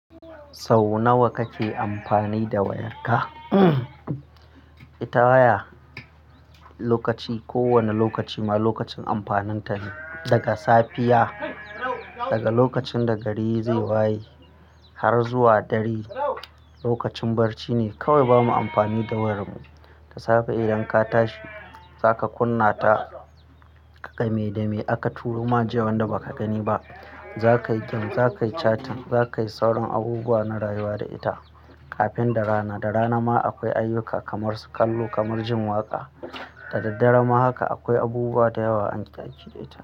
Sau nawa kake amfani da wayarka? Ita waya lokaci, ko wane lokaci ma lokacin amfaninta ne. Daga safiya, daga lokacin da gari zai waye har zuwa dare lokacin barci ne kawai bamu amfani da wayar mu. Da safe idan ka tashi zaka kunna ta, ka ga me da me aka turo ma jiya wanda baka gani ba. Zaka yi game, zaka yi chatting, za kayi sauran abubuwa na rayuwa da ita. Kafin da rana, da rana ma akwai ayyuka kamar kallo, kamar jin waƙa. Da daddare ma haka akwai abubuwa da yawa ake ajiye da ita.